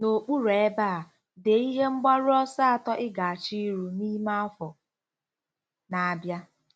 N'okpuru ebe a, dee ihe mgbaru ọsọ atọ ị ga-achọ iru n'ime afọ na-abịa.